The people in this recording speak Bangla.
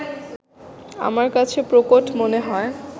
আমার কাছে প্রকট মনে হয়